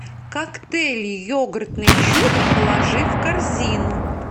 коктейль йогуртный чудо положи в корзину